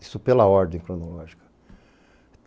Isso pela ordem cronológica.